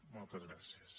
moltes gràcies